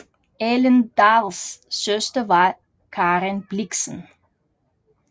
Ellen Dahls søster var Karen Blixen